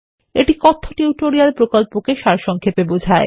এটি কথ্যটিউটোরিয়াল প্রকল্পকে সারসংক্ষেপে বোঝায়